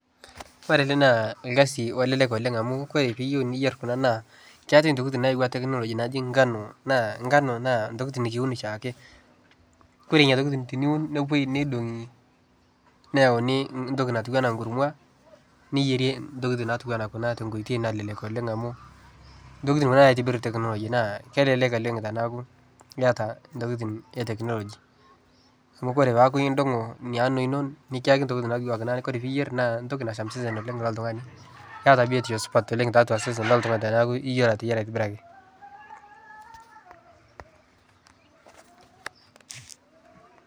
Ore ena naa orkasi olelek oooleng amu ore pee yieu niyier kuna naa keeta tokitin nayau technology naaji ngano naa ngano naa tokitin nikiun eshiake. Kore ina toki teniun nepuoi neidongi neyauni toki natiu enaa ekurma niyierie tokitin natiu ena kuna te koitoi nalelek amu, tokitin kuna naitobiru technology naa kelelek oooleng teniaku yata tokitin e technology . Amu ore peaku idongo ina ano ino nicho tokitin duoake ore pee yier naa toki nasham osesen oooleng loltungani neata biotisho supat tiatua osesen loltungani teniaku yiolo ateyiara atibiraki. ..